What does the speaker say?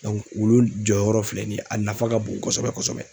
wulu jɔyɔrɔ filɛ nin ye a nafa ka bon kosɛbɛ kosɛbɛ.